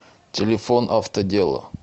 телефон автодело